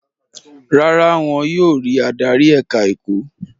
Rárá, wọn yóò rí adarí ẹ̀ka-ẹ̀kọ́.